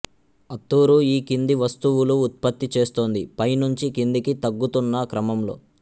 అత్తూరు ఈ కింది వస్తువులు ఉత్పత్తి చేస్తోంది పై నుంచి కిందికి తగ్గుతున్న క్రమంలో